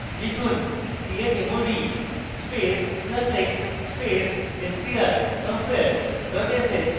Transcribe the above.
লিখুন chmod space plus x space strcompare dot sh